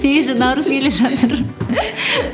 сегізінші наурыз келе жатыр